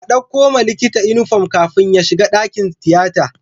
A ɗauko wa likita inufom kafin ya shiga dakin tiyata